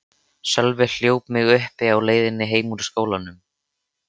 Sölvi hljóp mig uppi á leiðinni heim úr skólanum.